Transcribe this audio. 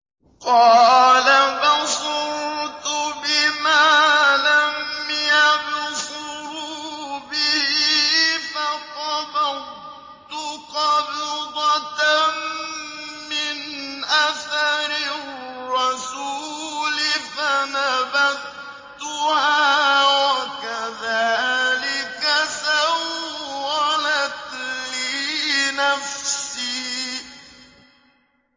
قَالَ بَصُرْتُ بِمَا لَمْ يَبْصُرُوا بِهِ فَقَبَضْتُ قَبْضَةً مِّنْ أَثَرِ الرَّسُولِ فَنَبَذْتُهَا وَكَذَٰلِكَ سَوَّلَتْ لِي نَفْسِي